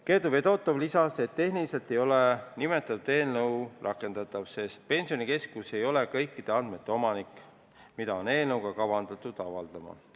Kertu Fedotov lisas, et tehniliselt ei ole nimetatud eelnõu rakendatav, sest Pensionikeskus ei ole kõikide nende andmete omanik, mida on eelnõus kavandatud avaldada.